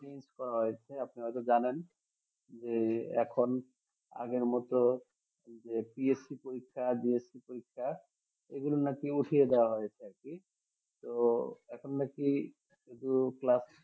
change করা হয়েছে আপনারা হয়ত জানেন যে এখন আগের মত যে PSC পরীক্ষা GSC পরীক্ষা এগুলো নাকি উঠিয়ে দেওয়া হয়েছে তো এখন নাকি শুধু